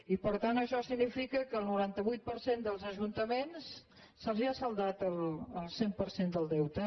i per tant això significa que al noranta vuit per cent dels ajun·taments se’ls ha saldat el cent per cent del deute